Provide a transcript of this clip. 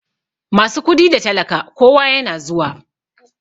Masu kudi da talaka kowa yana zuwa.